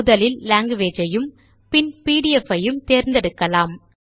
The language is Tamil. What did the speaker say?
முதலில் லாங்குவேஜ் ஐயும் பின் பிடிஎஃப் ஐயும் தேர்ந்தெடுக்கலாம்